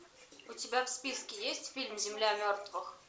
у тебя в списке есть фильм земля мертвых